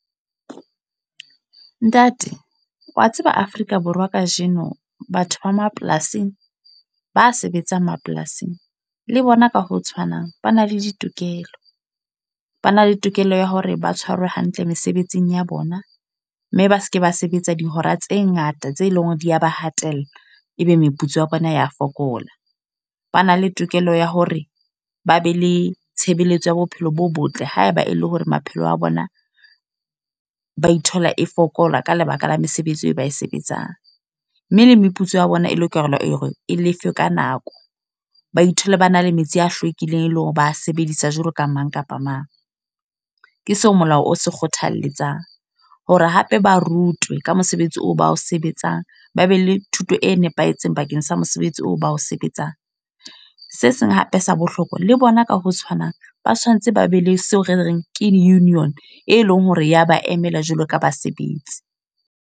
Ntate, wa tseba Afrika Borwa kajeno. Batho ba mapolasing, ba sebetsang mapolasing. Le bona ka ho tshwanang, ba na le ditokelo. Ba na le tokelo ya hore ba tshwarwe hantle mesebetsing ya bona. Mme ba seke ba sebetsa dihora tse ngata tse leng hore di ya ba hatella, ebe meputso ya bona ya fokola. Ba na le tokelo ya hore ba be le tshebeletso ya bophelo bo botle haeba e le hore maphelo a bona ba ithola e fokola ka lebaka la mesebetsi eo ba e sebetsang. Mme le meputso ya bona e lokela hore e lefe ka nako. Ba ithole ba na le metsi a hlwekileng, eleng hore ba sebedisa jwalo ka mang kapa mang. Ke seo molao o se kgothaletsang. Hore hape ba rutwe ka mosebetsi oo ba o sebetsang. Ba be le thuto e nepahetseng bakeng sa mosebetsi oo ba o sebetsang. Se seng hape se bohlokwa, le bona ka ho tshwanang. Ba tshwantse ba be le seo re reng ke union, e leng hore ya ba emela jwalo ka basebetsi.